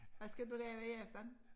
Hvad skal du lave i aften?